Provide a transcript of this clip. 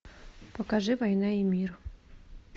покажи война и мир